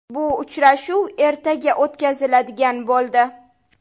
Bu uchrashuv ertaga o‘tkaziladigan bo‘ldi.